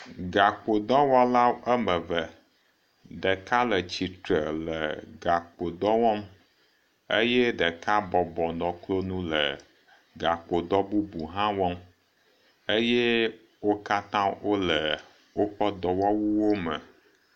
Gakpodɔwɔla ame eve, ɖeka le tsitre le gakpodɔ wɔm eye ɖeka bɔbɔ nɔ klonu le gakpodɔ bubu hã wɔm eye wo katã wole woƒe dɔwɔwuwome.